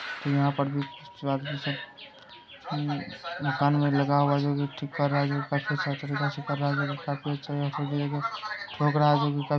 यहाँ पर आदमी सब मम्म काम में लगा हुआ है। जो की ठीक कर रहा है। ठोक रहा है जो भी कर --